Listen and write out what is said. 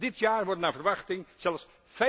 Dit jaar worden naar verwachting zelfs